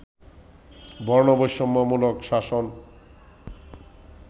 বর্ণবৈষম্য মূলক শাসন